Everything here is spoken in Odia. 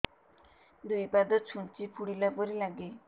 ଦୁଇ ପାଦ ଛୁଞ୍ଚି ଫୁଡିଲା ପରି ଲାଗେ